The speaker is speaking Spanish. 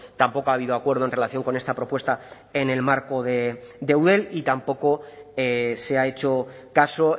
tampoco ha habido acuerdo en relación con esta propuesta en el marco de eudel y tampoco se ha hecho caso